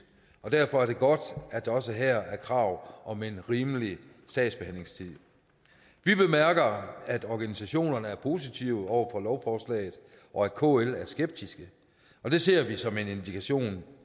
og derfor er det godt at der også her er krav om en rimelig sagsbehandlingstid vi bemærker at organisationerne er positive over for lovforslaget og at kl er skeptisk det ser vi som en indikation